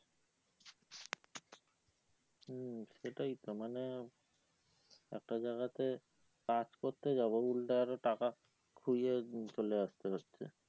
হম সেটাই তো মানে একটা জায়গাতে কাজ করতে যাবো উল্টে আরো টাকা খুইয়ে চলে আসতে হচ্ছে